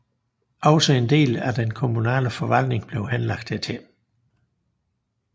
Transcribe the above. Også en del af den kommunale forvaltning blev henlagt hertil